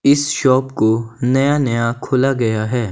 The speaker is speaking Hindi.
इस शॉप को नया नया खोला गया है।